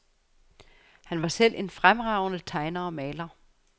Han var selv en fremragende tegner og maler.